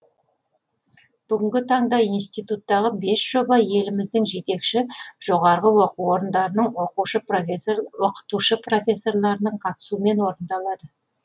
бүгінгі таңда институттағы бес жоба еліміздің жетекші жоғарғы оқу орындарының оқытушы профессорларының қатысуымен орындалады